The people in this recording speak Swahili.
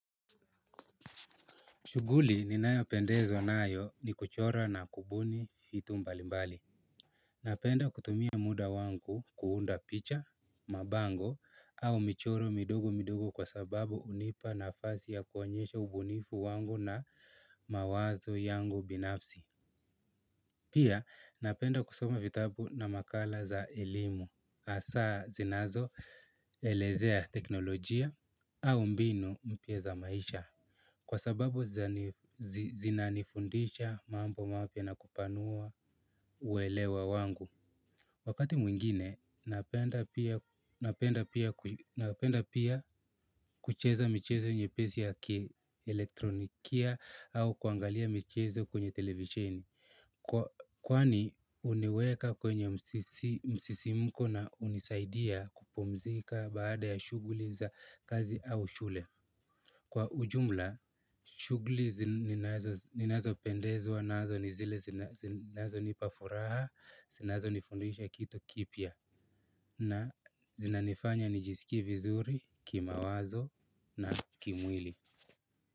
Shughuli ninayopendezwa nayo ni kuchora na kubuni vitu mbalimbali. Napenda kutumia muda wangu kuunda picha, mabango au michoro midogo midogo kwa sababu hunipa nafasi ya kuonyesha ubunifu wangu na mawazo yangu binafsi. Pia napenda kusoma vitabu na makala za elimu hasaa zinazoelezea teknolojia au mbinu mpya za maisha kwa sababu zinanifundisha mambo mapya na kupanua uelewa wangu. Wakati mwingine napenda pia kucheza michezo nyepesi ya kielektronikia au kuangalia michezo kwenye televisheni. Kwani huniweka kwenye msisimko na hunisaidia kupumzika baada ya shughuli za kazi au shule. Kwa ujumla, shughuli ninazo zinazopendezwa nazo ni zile zinazonipa furaha, zinazonifundisha kitu kipya, na zinanifanya nijisikie vizuri kimawazo na kimwili.